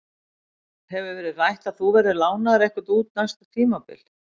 Hefur verið rætt að þú verðir lánaður eitthvað út næsta tímabil?